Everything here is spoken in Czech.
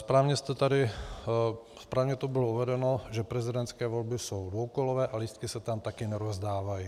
Správně tu bylo uvedeno, že prezidentské volby jsou dvoukolové a lístky se tam také nerozdávají.